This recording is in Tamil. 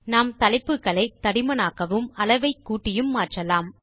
நாம் தலைப்புகளை தடிமனாகவும் அளவை கூட்டியும் மாற்றலாம்